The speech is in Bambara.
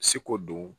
Seko don